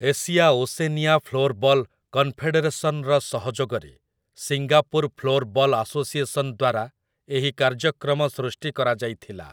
Asia Oceania floorball କନଫେଡେରେସନ୍‌ର ସହଯୋଗରେ Singapore floorball association ଦ୍ୱାରା ଏହି କାର୍ଯ୍ୟକ୍ରମ ସୃଷ୍ଟି କରାଯାଇଥିଲା ।